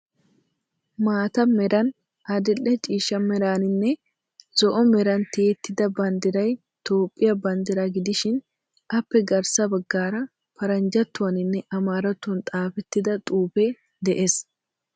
Maata meran, adil"e ciishsha meraaninne zo'o meran tiyettida banddiray Toophphiya banddiraa gidishin appe garssa baggaara paranjjattuwaninne amaarattuwan xaafettidi xuufee de'ees.